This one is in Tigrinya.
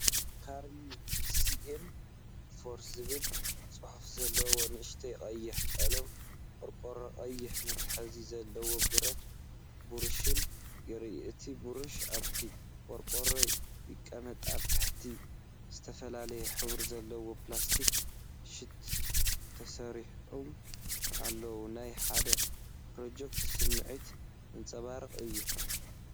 "CARMY CM-4" ዝብል ጽሑፍ ዘለዎ ንእሽቶ ቀይሕ ቀለም ቆርቆሮን ቀይሕ መትሓዚ ዘለዎ ብረት ብራሽን ይርአ። እቲ ብሩሽ ኣብቲ ቆርቆሮ ይቕመጥ። ኣብ ታሕቲ፡ ዝተፈላለየ ሕብሪ ዘለዎም ፕላስቲክ ሸት ተሰሪዖም ኣለዉ። ናይ ሓደ ፕሮጀክት ስምዒት ዘንጸባርቕ እዩ።